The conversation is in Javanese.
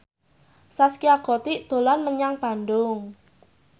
Zaskia Gotik dolan menyang Bandung